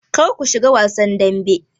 Kar ku shiga wasan dambe!